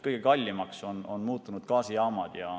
Kõige kallimaks on muutunud gaasijaamad.